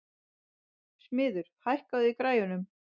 Smiður, hækkaðu í græjunum.